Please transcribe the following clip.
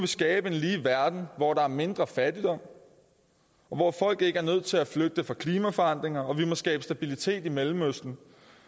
skabe en lige verden hvor der er mindre fattigdom og hvor folk ikke er nødt til at flygte fra klimaforandringer og vi må skabe stabilitet i mellemøsten